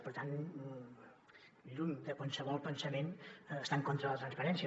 per tant lluny de qualsevol pensament estar en contra de la transparència